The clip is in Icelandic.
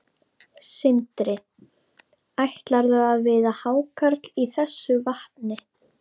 Sindri: Ætlarðu að veiða hákarl í þessu vatni?